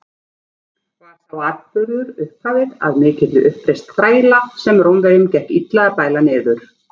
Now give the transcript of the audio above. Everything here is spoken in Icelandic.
Var sá atburður upphafið að mikilli uppreisn þræla, sem Rómverjum gekk illa að bæla niður.